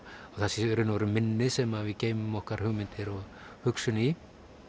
að það sé í raun og veru minni sem við geymum okkar hugmyndir og hugsun í